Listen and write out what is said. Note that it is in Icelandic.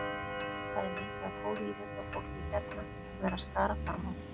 Það er mikið af góðu íþróttafólki hérna sem er að skara fram úr.